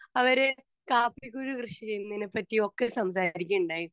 Speaker 2 അവര് കാപ്പിക്കുരു കൃഷി ചെയ്യുന്നതിനെപ്പറ്റിയും ഒക്കെ സംസാരിക്കയുണ്ടായി.